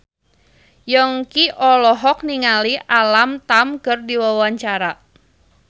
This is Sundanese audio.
Yongki olohok ningali Alam Tam keur diwawancara